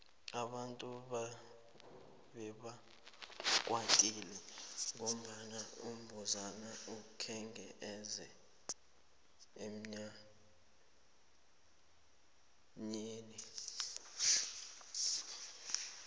abantu bebakwatile ngombana umbuzana akhenge eze emnyanyeni